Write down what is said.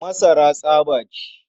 Masara tsaba ce.